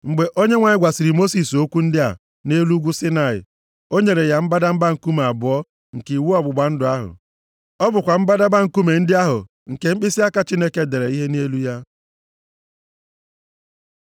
Mgbe Onyenwe anyị gwasịrị Mosis okwu ndị a nʼelu ugwu Saịnaị, o nyere ya mbadamba nkume abụọ nke iwu ọgbụgba ndụ ahụ. Ọ bụkwa mbadamba nkume ndị ahụ nke mkpịsịaka Chineke dere ihe nʼelu ha.